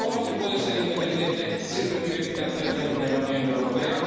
¿Pero cómo se puede ser independiente si recibe financiación de la Unión Europea?